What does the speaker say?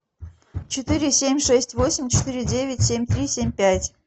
четыре семь шесть восемь четыре девять семь три семь пять